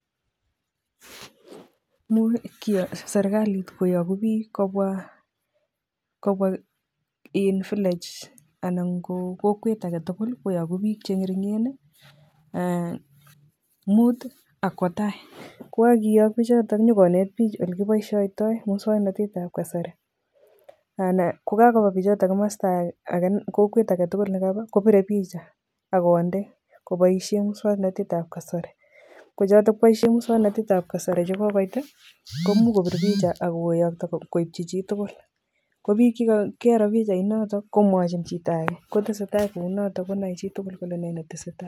Imuch serikalit koyoku biik kobwa iin village anan ko kokwet aketukul koyoku biik cheng'ering'en muut ak kwoo taii, ko yekokiyok bichoton inyokonet biik olekiboishoitoi muswoknotetab kasari, anan ko kakoba bichoton komosto akee kokwet aketukul nekaba kobire picha ak konde koboishen muswoknotetab kasari, kochotok boishen muswoknotetab kasari chekokoit komuch kobit picha ak koyokto koibchi chitukul, ko biik chekaroo pichainotok komwochin chito akee kineteseta kounoto konoe chitukul kole ne netesetai.